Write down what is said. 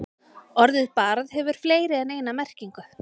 Orðið barð hefur fleiri en eina merkingu.